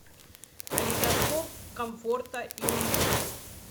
калейдоскоп комфорта и уюта